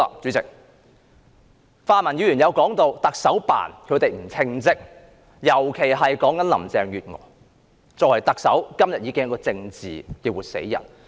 主席，泛民議員提到行政長官辦公室不稱職，尤其是林鄭月娥作為特首，今天已是一個政治的活死人。